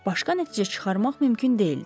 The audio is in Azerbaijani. Başqa nəticə çıxarmaq mümkün deyildi.